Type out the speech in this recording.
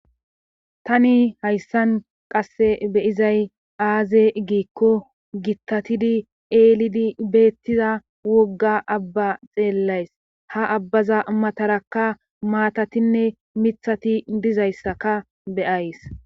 tani hayssan qasse beyizay aaze giikko gittatidi eelidi beettiza wogga abba xeellays ha abbaza matarakka maatatinne mithati dizayssaka beyays